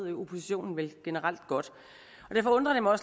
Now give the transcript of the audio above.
oppositionen vel generelt godt og derfor undrer det mig